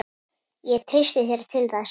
Ég treysti þér til þess.